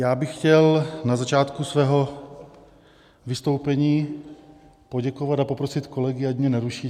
Já bych chtěl na začátku svého vystoupení poděkovat a poprosit kolegy, ať mě neruší.